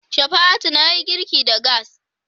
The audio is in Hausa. Shafa'atu na yi girki da gas.